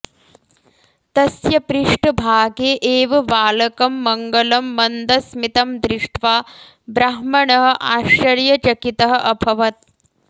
तस्य पृष्टभागे एव बालकं मङ्गलं मन्दस्मितं दृष्ट्वा ब्राह्मणः आश्चर्यचकितः अभवत्